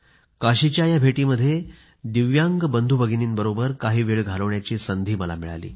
काशीच्या या भेटीमध्ये दिव्यांग बंधूभगिनींबरोबर काही वेळ घालवण्याची संधी मिळाली